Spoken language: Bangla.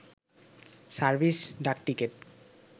সার্ভিস ডাকটিকেট